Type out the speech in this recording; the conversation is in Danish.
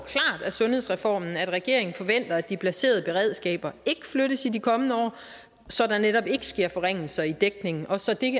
af sundhedsreformen at regeringen forventer at de placerede beredskaber ikke flyttes i de kommende år så der netop ikke sker forringelser i dækningen og så